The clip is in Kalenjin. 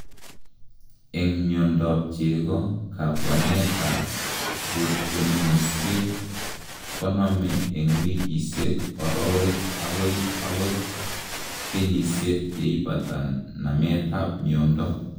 En miondab chego, kabwanetab rotionisiek konome en wikisiek, orowek akoi ot kenyisiek yeipata nametab miondo.